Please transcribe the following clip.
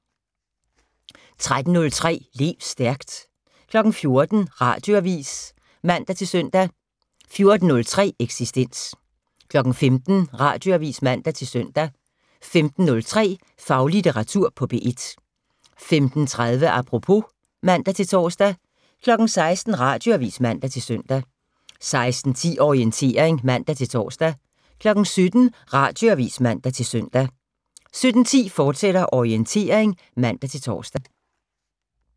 13:03: Lev stærkt 14:00: Radioavis (man-søn) 14:03: Eksistens 15:00: Radioavis (man-søn) 15:03: Faglitteratur på P1 15:30: Apropos (man-tor) 16:00: Radioavis (man-søn) 16:10: Orientering (man-tor) 17:00: Radioavis (man-søn) 17:10: Orientering, fortsat (man-tor)